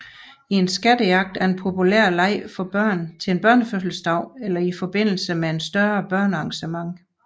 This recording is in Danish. En skattejagt er en populær leg for børn til en børnefødselsdag eller i forbindelse med et større børnearrangement